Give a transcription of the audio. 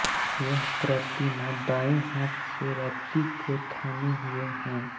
यह प्रतिमा बाएं हाथ से रति को थामें हुए हैं